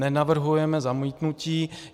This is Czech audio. Nenavrhujeme zamítnutí.